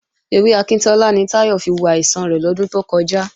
Ewé akíntọ́lá ni Táyọ̀ fi wo àìsàn rẹ̀ lọ́dún tó kọjá